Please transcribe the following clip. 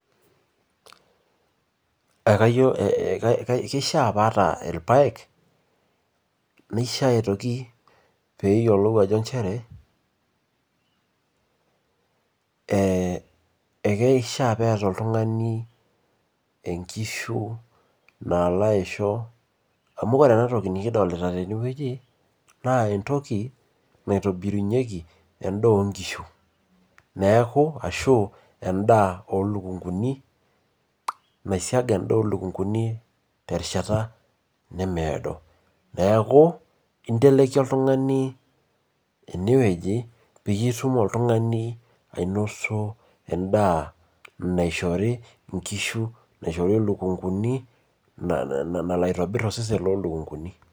kishaa pee aata ilpayek, nishaa aitoki pee eyiolou inchere, ekishaa pee eta oltungani enkishu, ore entoki